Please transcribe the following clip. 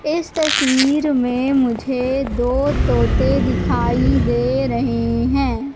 इस तस्वीर में मुझे दो तोते दिखाई दे रहे हैं।